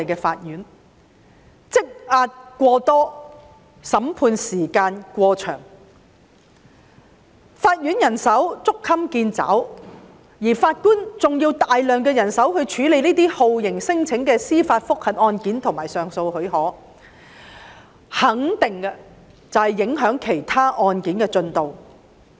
當案件積壓過多，審判時間過長，法院人手捉襟見肘，還需要大量人手處理酷刑聲請的司法覆核和上訴許可案件時，我肯定這樣會影響其他案件的進度。